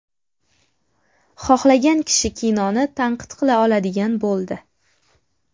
Xohlagan kishi kinoni tanqid qila oladigan bo‘ldi.